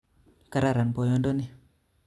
Kararan boyodoni